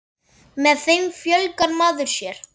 Með þeim fjölgar maður sér.